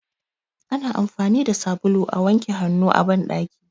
Ana amfani da sabulu a wanke hannu a banɗaki.